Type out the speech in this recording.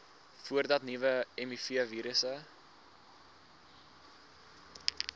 voordat nuwe mivirusse